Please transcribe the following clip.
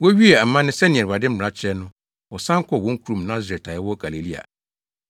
Wowiee amanne sɛnea Awurade mmara kyerɛ no, wɔsan kɔɔ wɔn kurom Nasaret a ɛwɔ Galilea,